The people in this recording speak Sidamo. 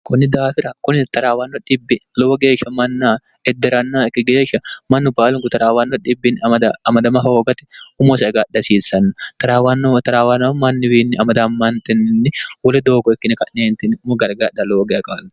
kunni daafira kuni 0raawanno bb lowo geeshsha mannaa edde'ranno ikki geeshsha mannu baalunku taraawanno dbbii amadama hoogate umosaegadhi hasiissanno taraawanno taraawaanano manniwiinni amadammantininni woli doogo ikkine ka'neentinni umo gari gadha lowo geaqaalno